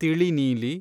ತಿಳಿ ನೀಲಿ